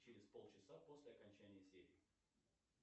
через полчаса после окончания серии